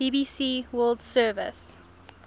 bbc world service